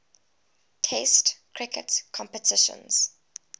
test cricket competitions